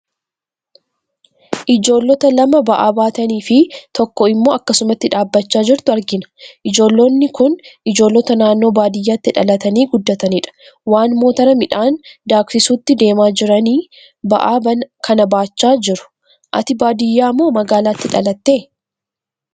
Ijoollota lama ba'aa baatanii fi tokko immoo akkasumatti dhaabachaa jirtu argina. Ijoollonni kun ijoollota naannoo baadiyyaatti dhalatanii guddatanidha. Waan motora midhaan daaksisutti deemaa jiranii, ba'aa kana baachaa jiru. Ati baadiyaa moo magaalaatti dhalatte?